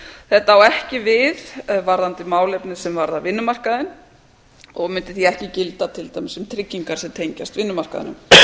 þetta á ekki við varðandi málefni sem varða vinnumarkaðinn og mundi því ekki gilda til dæmis um tryggingar sem tengjast vinnumarkaðnum sem dæmi um